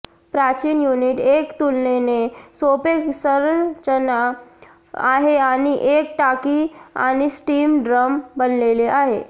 प्राचीन युनिट एक तुलनेने सोपे संरचना आहे आणि एक टाकी आणि स्टीम ड्रम बनलेला आहे